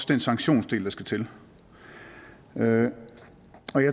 den sanktionsdel der skal til jeg